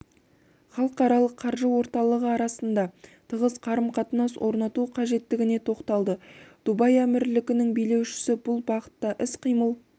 халықаралық қаржы орталығы арасында тығыз қарым-қатынас орнату қажеттігіне тоқталды дубай әмірлігінің билеушісі бұл бағытта іс-қимыл